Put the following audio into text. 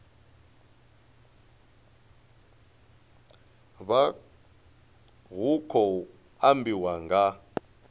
vha hu khou ambiwa nga